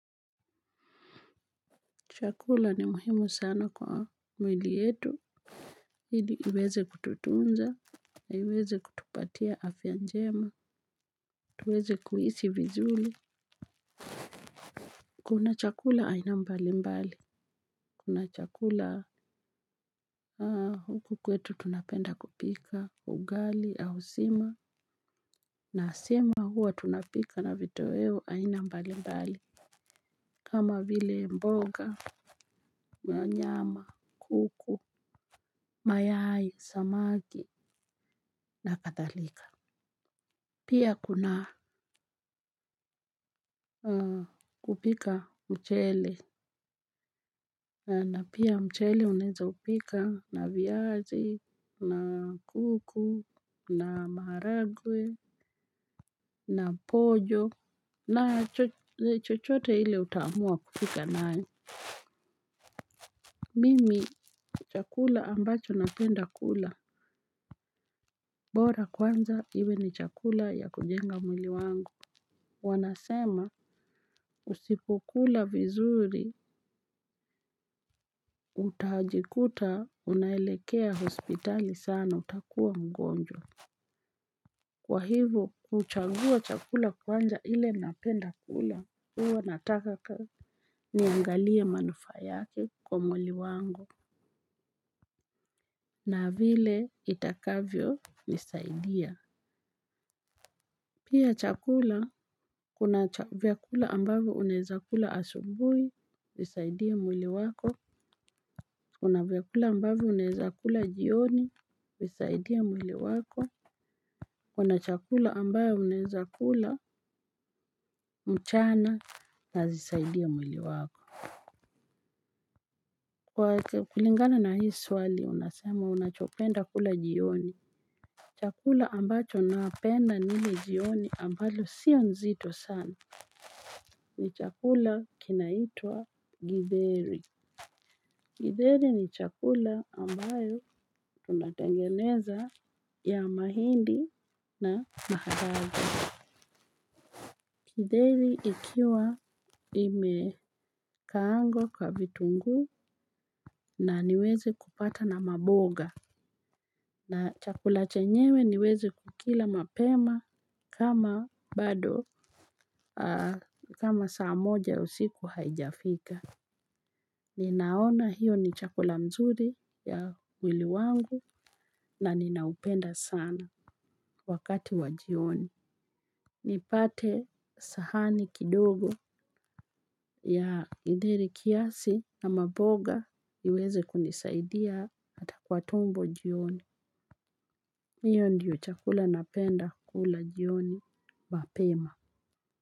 Chakula ni muhimu sana kwa mwili yetu. Hili iweze kututunza. Na iweze kutupatia afyanjema. Tuweze kuhisi vizuli. Kuna chakula aina mbali mbali. Kuna chakula haa huku kwetu tunapenda kupika ugali au sima. Na asima huwa tunapika na vitoeo aina mbali mbali. Kama vile mboga, manyama, kuku, mayai, samaki, na kathalika. Pia kuna kupika mchele, na pia mchele uneza upika na viazi, na kuku, na maragwe, na pojo, na chochote hile utamua kupika nae. Mimi chakula ambacho napenda kula, bora kwanza hiwe ni chakula ya kujenga mwili wangu. Wanasema usipo kula vizuri utajikuta unaelekea hospitali sana utakuwa mgonjwa. Kwa hivo kuchagua chakula kwanja ile napenda kula uwa natakaka. Niangalia manufa yake kwa muili wangu na vile itakavyo nisaidia. Pia chakula kuna vyakula ambavyo uneza kula asubui. Zisaidia mwili wako. Kuna vyakula ambavyo uneza kula jioni. Zisaidia mwili wako. Kuna chakula ambayo uneza kula mchana. Nazisaidia mwili wako. Kwa kulingana na hii swali unasema unachopenda kula jioni chakula ambacho naapenda nile jioni ambalo sio nzito sana. Ni chakula kinaitua Githeri Kideri ni chakula ambayo tunatengeneza ya mahindi na maharage. Kideri ikiwa imekaangwa kwa vitungu na niweze kupata na maboga. Na chakula chenyewe niweze kukila mapema kama bado saa moja usiku haijafika. Ninaona hiyo ni chakula mzuri ya mwili wangu na ninaupenda sana wakati wa jioni. Nipate sahani kidogo ya githeri kiasi ama boga iweze kunisaidia hata kwa tumbo jioni. Hiyo ndiyo chakula napenda kula jioni. Mapema.